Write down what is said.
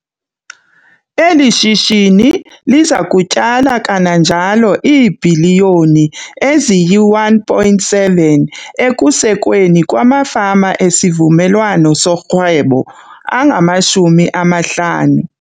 Eli shishini liza kutyala kananjalo iibhiliyoni ezi yi-R1.7 ekusekweni kwamafama esivumelwawano sorhwebo angama-50.